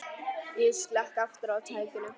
Ég slekk aftur á tækinu.